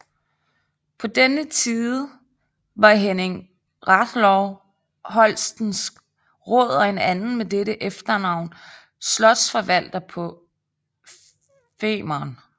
På denne tide var Henning Rathlow holstensk råd og en anden med dette efternavn slotsforvalter på Femern